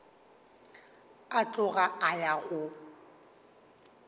a tloga a ya go